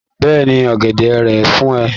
Bẹ́ẹ̀ni. Ọ̀gẹ̀dẹ̀ rèé fún ẹ.